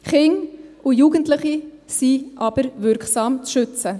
Kinder und Jugendliche sind aber wirksam zu schützen.